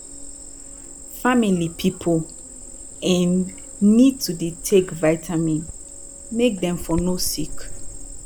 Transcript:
family pipu um need to dey take vitamin make dem for no sick